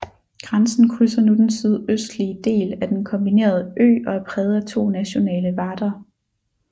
Grænsen krydser nu den sydøstlige del af den kombinerede ø og er præget af to nationale varder